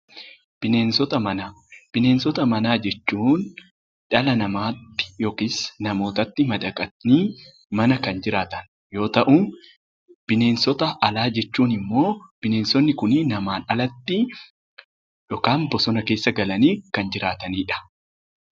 Bineensota manaa Bineensota manaa jechuun dhala namaa tti yookiis namoota tti madaqanii mana kan jiraatan yoo ta'u; Bineensota alaa jechuun immoo bineensonni kun namaan alatti yookaan bosona keessa galanii kan jiraatani dha.